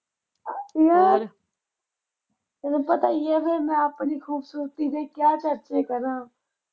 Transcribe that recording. ਮੈਂ ਤੈਨੂੰ ਪਤਾ ਈ ਆ ਫਿਰ ਮੈਂ ਆਪਣੀ ਖ਼ੂਬਸੂਰਤੀ ਦੇ ਕਿਆ ਚਰਚੇ ਕਰਾਂ।